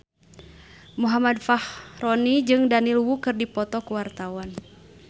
Muhammad Fachroni jeung Daniel Wu keur dipoto ku wartawan